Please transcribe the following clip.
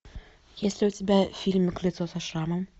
есть ли у тебя фильм лицо со шрамом